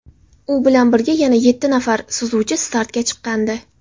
U bilan birga yana yetti nafar suzuvchi startga chiqqandi.